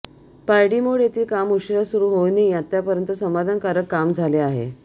पारडीमोड येथील काम उशिरा सुरु होऊनही आतापर्यंत समाधानकारक काम झाले आहे